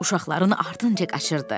Uşaqların ardınca qaçırdı.